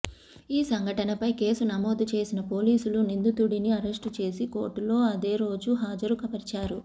ఈ సంఘటనపై కేసు నమోదు చేసిన పోలీసులు నిందితుడిని అరెస్టు చేసి కోర్టులో అదే రోజు హాజరు పరిచారు